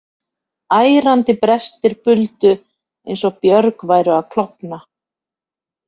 Ærandi brestir buldu eins og björg væru að klofna.